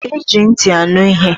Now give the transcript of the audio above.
Eji ntị anụ ihe.